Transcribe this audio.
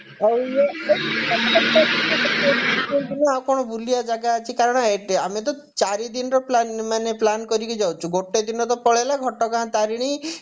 ହଉ ଆଉ ଇଏ ପାଖାପାଖି ଆଉ କଣ ବୁଲିବା ଜାଗା ଅଛି କାରଣ ଆମେ ତ ଚାରିଦିନର plan ମାନେ plan କରିକି ଯାଉଛୁ ଗୋଟେ ଦିନ ତ ପଳେଇଲା ଘଟଗାଁ ତାରିଣୀ